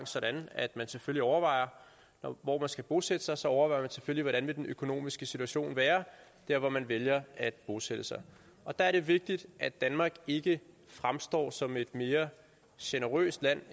sådan at man selvfølgelig overvejer hvor man skal bosætte sig sig overvejer hvordan den økonomiske situation vil være der hvor man vælger at bosætte sig der er det vigtigt at danmark ikke fremstår som et mere generøst land